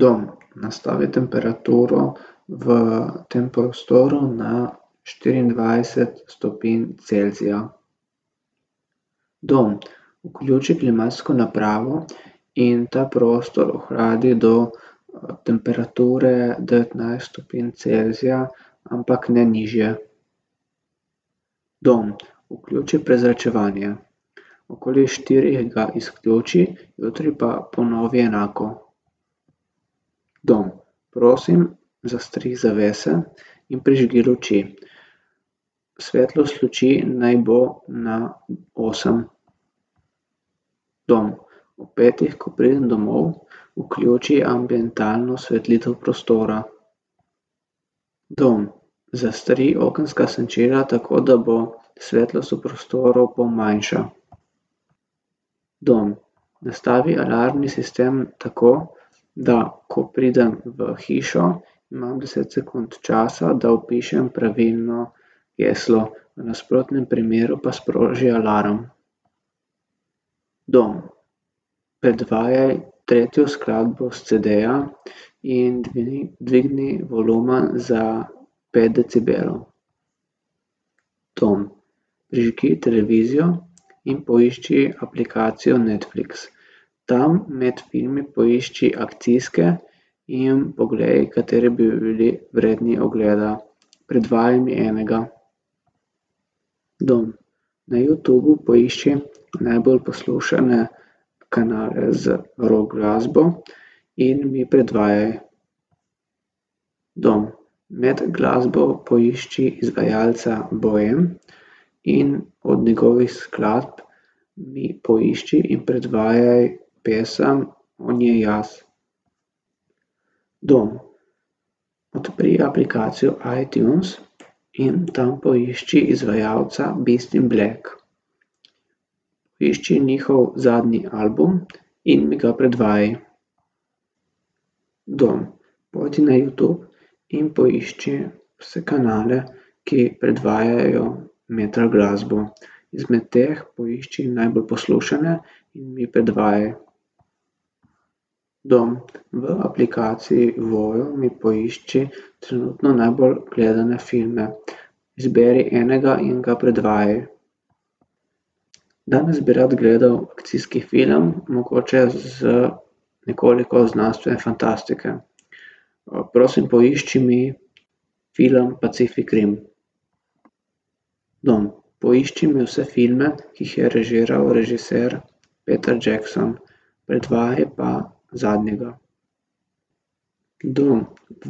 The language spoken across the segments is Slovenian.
Dom, nastavi temperaturo v tem prostoru na štiriindvajset stopinj Celzija. Dom, vključi klimatsko napravo in ta prostor ohladi do temperature devetnajst stopinj Celzija, ampak ne nižje. Dom, vključi prezračevanje. Okoli štirih ga izključi, jutri pa ponovi enako. Dom, prosim, zastri zavese in prižgi luči. Svetlost luči naj bo na osem. Dom, ob petih, ko pridem domov, vključi ambientalno osvetlitev prostora. Dom, zastri okenska senčila, tako da bo svetlost v prostoru pol manjša. Dom, nastavi alarmni sistem tako, da ko pridem v hišo, imam deset sekund časa, da vpišem pravilno geslo. V nasprotnem primeru pa sproži alarm. Dom, predvajaj tretjo skladbo s cedeja in dvigni volumen za pet decibelov. Dom, prižgi televizijo in poišči aplikacijo Netflix. Tam med filmi poišči akcijske in poglej, kateri bi bili vredni ogleda. Predvajaj mi enega. Dom, na Youtubu poišči najbolj poslušane kanale z rock glasbo in mi predvajaj. Dom, med glasbo poišči izvajalca Bohem in od njegovih skladb mi poišči in predvajaj pesem On je jaz. Dom, odpri aplikacijo iTunes in tam poišči izvajalca Beast in black. Poišči njihov zadnji album in mi ga predvajaj. Dom, pojdi na Youtube in poišči vse kanale, ki predvajajo metal glasbo. Izmed teh poišči najbolj poslušane in mi predvajaj. Dom, v aplikaciji Voyo mi poišči trenutno najbolj gledane filme. Izberi enega in ga predvajaj. Dom, jaz bi rad gledal akcijski film, mogoče z nekoliko znanstvene fantastike. prosim, poišči mi film Pacific rim. Dom, poišči mi vse filme, ki jih je režiral režiser Peter Jackson. Predvajaj pa zadnjega. Dom,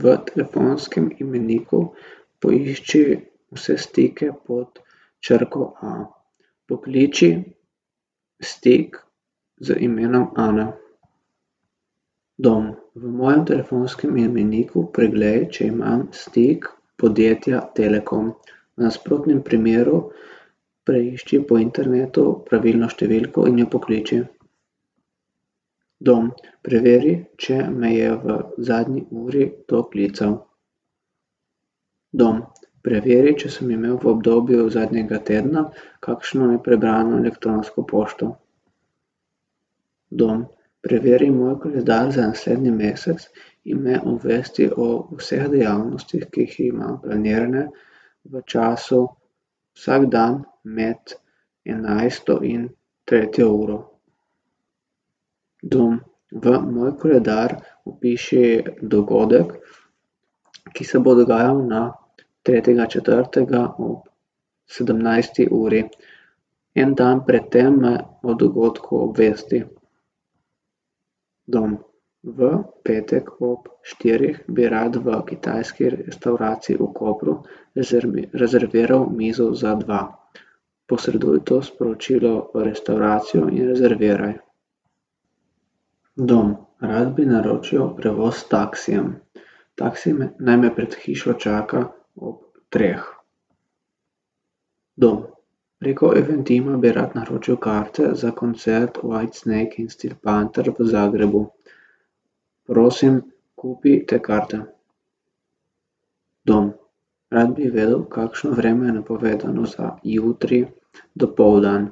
v telefonskem imeniku poišči vse stike pod črko a. Pokliči stik z imenom Ana. Dom, v mojem telefonskem imeniku preglej, če imam stik podjetja Telekom. V nasprotnem primeru preišči po internetu pravilno številko in jo pokliči. Dom, preveri, če me je v zadnji uri kdo klical. Dom, preveri, če sem imel v obdobju zadnjega tedna kakšno neprebrano elektronsko pošto. Dom, preveri moj koledar za naslednji mesec in me obvesti o vseh dejavnostih, ki jih imam planirane v času vsak dan med enajsto in tretjo uro. Dom, v moj koledar vpiši dogodek, ki se bo dogajal na tretjega četrtega ob sedemnajsti uri. En dan pred tem me o dogodku obvesti. Dom, v petek ob štirih bi rad v kitajski restavraciji v Kopru rezerviral mizo za dva. Posreduj to sporočilo v restavracijo in rezerviraj. Dom, rad bi naročil prevoz s taksijem. Taksi naj me pred hišo čaka ob treh. Dom, preko Eventima bi rad naročil karte za koncert White snake in Steel panther v Zagrebu. Prosim, kupi te karte. Dom, rad bi vedel, kakšno vreme je napovedano za jutri dopoldan.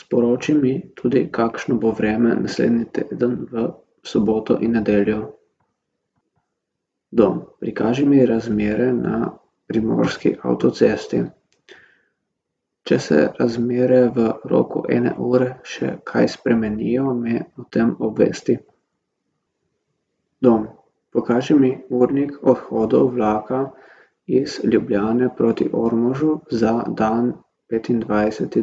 Sporoči mi tudi, kakšno bo vreme naslednji teden v soboto in nedeljo. Dom, prikaži mi razmere na primorski avtocesti. Če se razmere v roku ene ure še kaj spremenijo, me o tem obvesti. Dom, pokaži mi urnik odhodov vlaka iz Ljubljane proti Ormožu za dan petindvajseti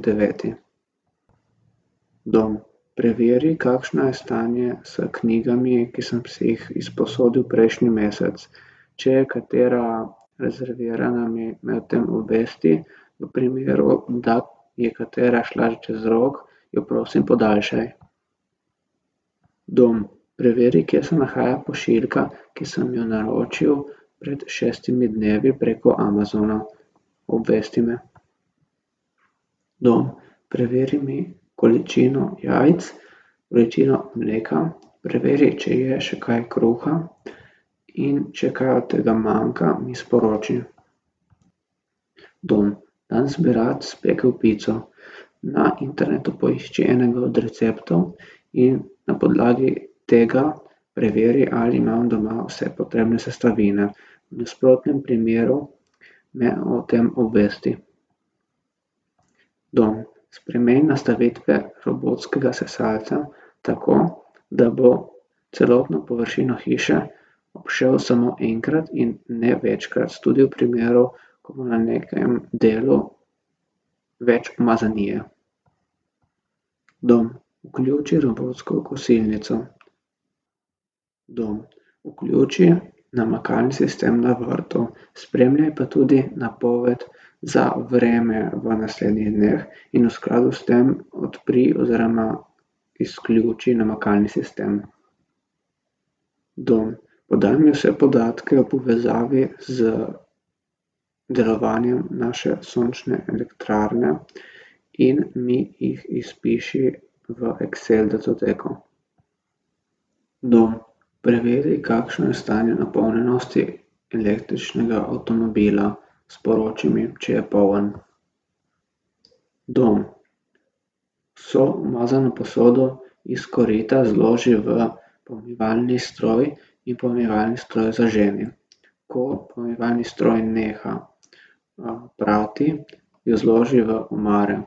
deveti. Dom, preveri, kakšno je stanje s knjigami, ki sem si jih izposodil prejšnji mesec. Če je katera rezervirana, mi me o tem obvesti, v primeru, da je katera šla čez rok, jo prosim, podaljšaj. Dom, preveri, kje se nahaja pošiljka, ki sem jo naročil pred šestimi dnevi preko Amazona. Obvesti me. Dom, preveri mi količino jajc, količino mleka. Preveri, če je še kaj kruha, in če kaj od tega manjka, mi sporoči. Dom, danes bi rad spekel pico. Na internetu poišči enega od receptov in na podlagi tega preveri, ali imam doma vse potrebne sestavine. V nasprotnem primeru me o tem obvesti. Dom, spremeni nastavitve robotskega sesalca tako, da bo celotno površino hiše obšel samo enkrat in ne večkrat, tudi v primeru, ko bo na nekem delu več umazanije. Dom, vključi robotsko kosilnico. Dom, vključi namakalni sistem na vrtu. Spremljaj pa tudi napoved za vreme v naslednjih dneh in v skladu s tem odpri oziroma izključi namakalni sistem. Dom, podaj mi vse podatke v povezavi z delovanjem naše sončne elektrarne in mi jih izpiši v excel datoteko. Dom, preveri, kakšno je stanje napolnjenosti električnega avtomobila. Sporoči mi, če je poln. Dom, vso umazano posodo iz korita zloži v pomivalni stroj in pomivalni stroj zaženi. Ko pomivalni stroj neha, prati, jo zloži v omare.